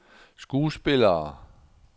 skuespillere